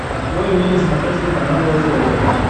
открой мне на смотрешке канал ржд тв